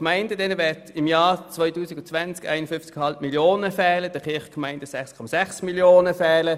Den Gemeinden werden im Jahr 2020 nämlich 51,5 Mio. Franken fehlen und den Kirchgemeinden 6,6 Mio. Franken.